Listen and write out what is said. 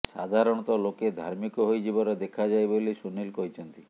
ସାଧାରଣତଃ ଲୋକେ ଧାର୍ମିକ ହୋଇଯିବାର ଦେଖାଯାଏ ବୋଲି ସୁନିଲ କହିଛନ୍ତି